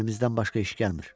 Əlimizdən başqa iş gəlmir.